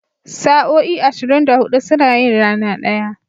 Sa'o'i ashirin da hudu suna yin rana ɗaya.